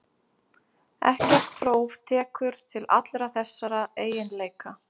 Ekkert próf tekur til allra þessara eiginleika.